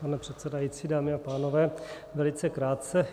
Pane předsedající, dámy a pánové, velice krátce.